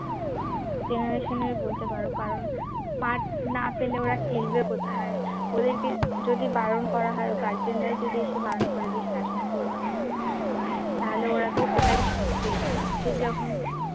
generation এর বলতে পারো কারণ মাঠ না পেলে ওরা খেলবে কোথায় ওদেরকে যদি বারণ করা হয় guardian রাই যদি এসে বারণ করে শাসন করবো না বকবো না তাহলে ওরা তো ওটাই শিখবে আমাদের যখন